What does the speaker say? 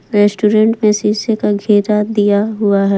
Restaurant में शीशे का घेरा दिया हुआ है।